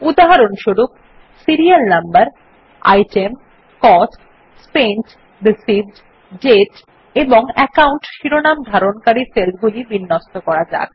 উদাহরণস্বরূপ serial number item cost spent received date এবং account শিরোনাম ধারণকারী সেলগুলি বিন্যস্ত করা যাক